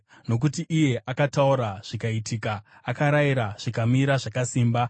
Nokuti iye akataura, zvikaitika; akarayira, zvikamira zvakasimba.